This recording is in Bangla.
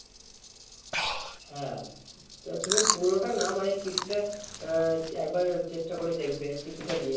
হ্যাঁ তা তুমি পুরোটা না মানে কিছুটা আহ একবার চেষ্টা করে দেখবে কিছুটা দিয়ে।